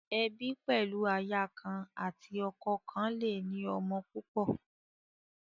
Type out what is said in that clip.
Ebi pẹlu aya kan ati ọkọ kọn le ni ọmọ púpọ.